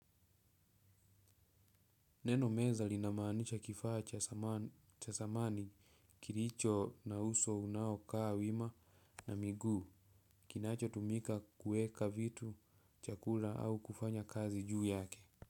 Neno meza linamaanisha kifaa cha samani kiricho na uso unao kaa wima na miguu kinachotumika kuweka vitu chakula au kufanya kazi juu yake.